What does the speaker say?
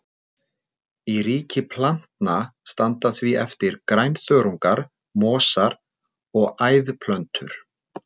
Í ríki plantna standa því eftir grænþörungar, mosar og æðplöntur.